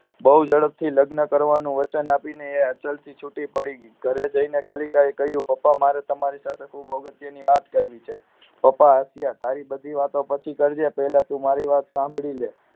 બહુ ઝડપથી લગ્ન કરવાનું વચન આપી એ અચલ થી છુટી પડી અને ઘરે જઈને કલિકા કહ્યું પપ્પાને મારે તમારી સાથે ખૂબ જ અગત્યની વાત કરવી છે પપ્પા હસીયા તારી બધી વાત પછી કરજે પહેલા તું મારી વાત સાંભળીલે